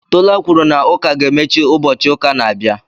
Tola kwuru na ụka ga-emechi ụbọchị ụka na-abịa